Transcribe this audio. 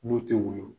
N'u tɛ woyo